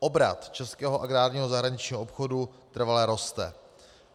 Obrat českého agrárního zahraničního obchodu trvale roste.